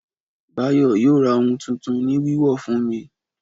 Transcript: Báyọ̀ yóò ra ohun tuntun ni wíwọ̀ fún mi